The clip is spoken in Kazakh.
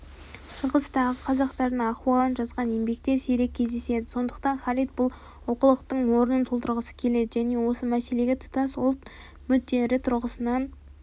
шығыстағы қазақтардың ахуалын жазған еңбектер сирек кездеседі сондықтан халид бұл олқылықтың орнын толтырғысы келеді және осы мәселеге тұтас ұлт мүдделері тұрғысынан